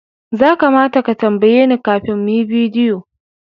Za kamata ka tambaye ni kafin mu yi bidiyo